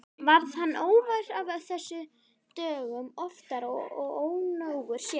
Varð hann óvær af þessu dögum oftar og ónógur sér.